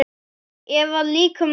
Ef að líkum lætur.